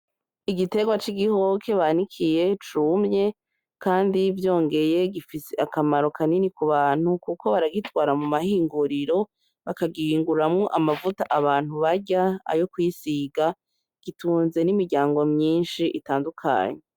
Igiterwa c'igihoke banikiye cumye kandi vyongeye gifise akamaro kanini k'ubantu kuko baragitwara mumahinguriro baka gihunguramwo amavuta abantu barya ,ayo kwisiga gitunze n'imiryango myishi itandukanye